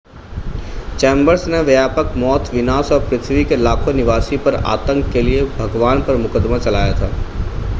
chambers ने व्यापक मौत विनाश और पृथ्वी के लाखों निवासी पर आतंक के लिए भगवान पर मुकदमा चलाया था